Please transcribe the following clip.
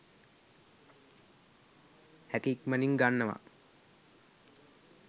හැකි ඉක්මනින් ගන්නවා